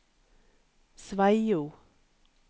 Sveio